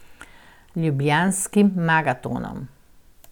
Ljubljanskim maratonom.